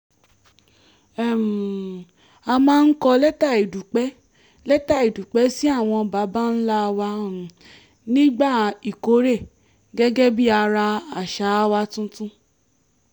um a máa ń kọ lẹ́tà ìdúpẹ́ lẹ́tà ìdúpẹ́ sí àwọn baba ńlá wa um nígbà ìkórè gẹ́gẹ́ bí ara àṣà wa tuntun